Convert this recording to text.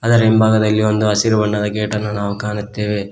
ಅದರ ಹಿಂಭಾಗದಲ್ಲಿ ಒಂದು ಹಸಿರು ಬಣ್ಣದ ಗೇಟನ್ನು ನಾವು ಕಾಣುತ್ತೇವೆ.